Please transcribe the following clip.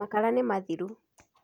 makara nĩ mathiru